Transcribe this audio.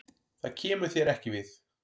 Það kemur þér ekki við.